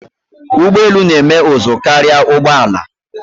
Ugbọelu na-eme ụzụ karia ụgbọala.